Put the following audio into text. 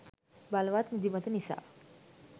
බලවත් නිදිමත නිසා